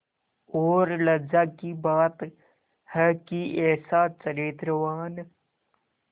और लज्जा की बात है कि ऐसा चरित्रवान